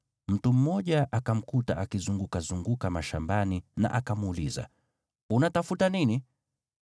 mtu mmoja akamkuta akizungukazunguka mashambani na akamuuliza, “Unatafuta nini?”